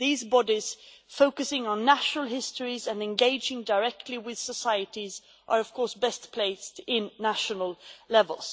These bodies, focusing on national histories and engaging directly with societies, are of course best placed at national level.